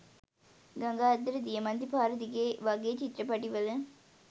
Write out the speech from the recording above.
ගඟ අද්දර දියමන්ති පාර දිගේ වගේ චිත්‍රපටිවල